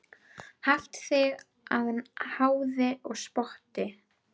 Haft þig að háði og spotti.